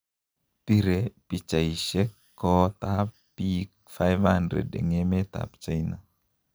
Bire pichaisiek koot ab biik 500 en emet ab China.